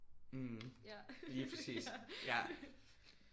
Mh lige præcis ja